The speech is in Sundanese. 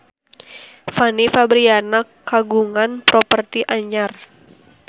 Fanny Fabriana kagungan properti anyar